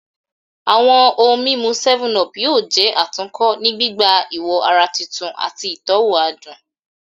Awọn ohun mimu 7up yoo jẹ atunkọ ni gbigba iwo ara tuntun ati itọwo adun